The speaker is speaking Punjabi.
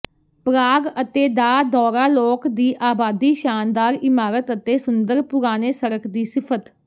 ਪ੍ਰਾਗ ਅਤੇ ਦਾ ਦੌਰਾ ਲੋਕ ਦੀ ਆਬਾਦੀ ਸ਼ਾਨਦਾਰ ਇਮਾਰਤ ਅਤੇ ਸੁੰਦਰ ਪੁਰਾਣੇ ਸੜਕ ਦੀ ਸਿਫਤ